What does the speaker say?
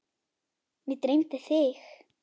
Mig dreymdi þig.